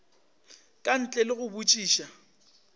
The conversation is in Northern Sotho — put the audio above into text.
ka ntle le go botšiša